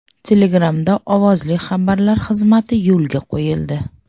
Telegram’da ovozli xabarlar xizmati yo‘lga qo‘yildi.